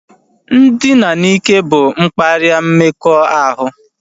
Ndina n'ike bụ mkparịa mmekọahụ